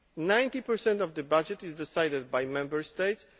Ninety per cent of the budget is decided by Member States.